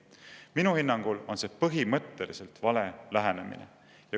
Minu hinnangul on see põhimõtteliselt vale lähenemine.